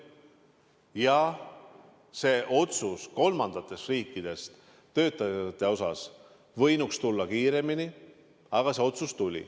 Jah, otsus kolmandatest riikidest töötajate kohta võinuks tulla kiiremini, aga see otsus tuli.